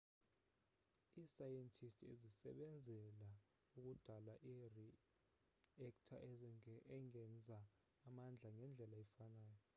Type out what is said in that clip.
iisayentisti zasebenzela ukudala iri-ekta engenza amandla ngendlela efanayo